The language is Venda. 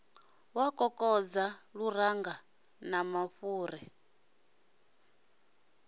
wa kokodza luranga na mafhuri